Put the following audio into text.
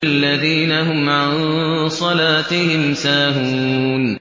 الَّذِينَ هُمْ عَن صَلَاتِهِمْ سَاهُونَ